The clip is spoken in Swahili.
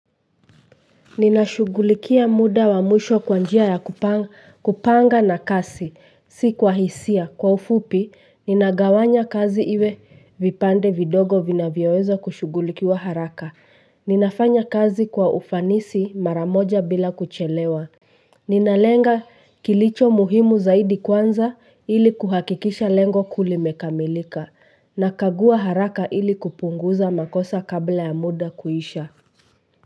Ninashughulia muda wa mwisho kwa njia ya kupanga na kasi, si kwa hisia. Kwa ufupi, ninagawanya kazi iwe vipande vidogo vinavyoweza kushughulikiwa haraka. Ninafanya kazi kwa ufanisi mara moja bila kuchelewa. Ninalenga kilicho muhimu zaidi kwanza ili kuhakikisha lengo kuu limekamilika. Nakagua haraka ili kupunguza makosa kabla ya muda kuisha.